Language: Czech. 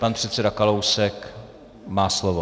Pan předseda Kalousek má slovo.